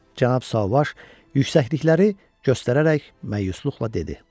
Cənab Sauvage yüksəklikləri göstərərək məyusluqla dedi.